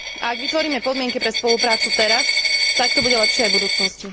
Ak vytvoríme podmienky pre spoluprácu teraz, tak to bude lepšie aj v budúcnosti.